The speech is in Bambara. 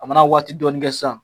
A mana waati dɔnin kɛ sisan